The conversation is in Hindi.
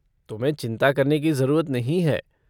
तुम्हें चिंता करने की ज़रूरत नहीं है।